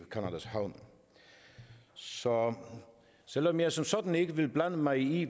havne så selv om jeg som sådan ikke vil blande mig i